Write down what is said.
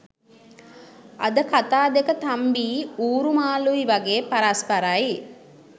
අද කතා දෙක තම්බියි ඌරු මාලුයි වගේ පරස්පරයි